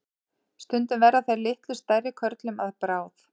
Stundum verða þeir litlu stærri körlum að bráð.